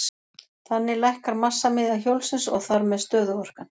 Þannig lækkar massamiðja hjólsins og þar með stöðuorkan.